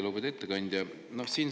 Lugupeetud ettekandja!